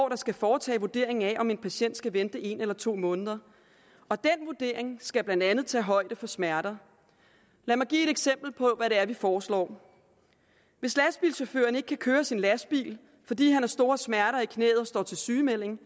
der skal foretage vurderingen af om en patient skal vente en eller to måneder og den vurdering skal blandt andet tage højde for smerter lad mig give et eksempel på hvad det er vi foreslår hvis lastbilchaufføren ikke kan køre sin lastbil fordi han har store smerter i knæet og står til sygemelding